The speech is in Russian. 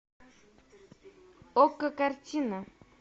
окко картина